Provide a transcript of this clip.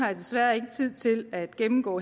jeg desværre ikke har tid til at gennemgå